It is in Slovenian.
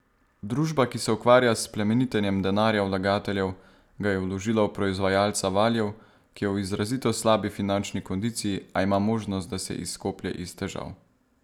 Družba, ki se ukvarja s plemenitenjem denarja vlagateljev, ga je vložila v proizvajalca valjev, ki je v izrazito slabi finančni kondiciji, a ima možnost, da se izkoplje iz težav.